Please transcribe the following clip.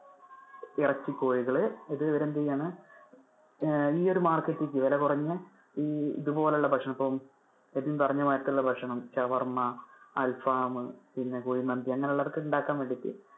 ഇറച്ചി കോഴികള്. ഇത് ഇവര് എന്തെയാണ് അഹ് ഈ ഒരു market ലേക്ക് വില കുറഞ്ഞ ഈ ഇതുപോലുള്ള ഭക്ഷണം ഇപ്പൊ എബിൻ പറഞ്ഞ മാതിരി ഉള്ള ഭക്ഷണം ഷവർമ്മ, അല്ല ഫാമ്മ് പിന്നെ കുഴിമന്തി അങ്ങനെ ഉള്ളവർക്ക് ഉണ്ടാക്കാൻ വേണ്ടിട്ട്.